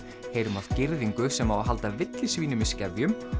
heyrum af girðingu sem á að halda villisvínum í skefjum